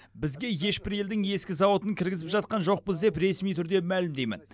бізге ешбір елдің ескі зауытын кіргізіп жатқан жоқпыз деп ресми түрде мәлімдеймін